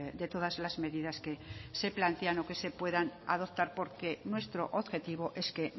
de todas las medidas que se plantean o que se puedan adoptar porque nuestro objetivo es que